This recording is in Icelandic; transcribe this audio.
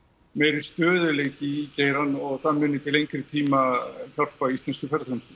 meiri stöðugleiki í geirann og það muni til lengri tíma hjálpa íslenskri ferðaþjónustu